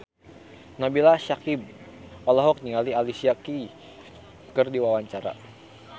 Nabila Syakieb olohok ningali Alicia Keys keur diwawancara